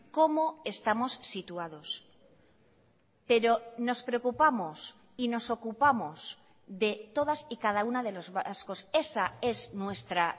cómo estamos situados pero nos preocupamos y nos ocupamos de todas y cada una de los vascos esa es nuestra